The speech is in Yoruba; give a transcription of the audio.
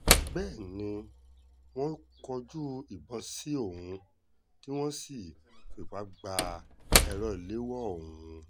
bẹ́ẹ̀ ni wọ́n kọjú ìbọn sí òun tí wọ́n sì fipá gba èrò ìléwọ́ òun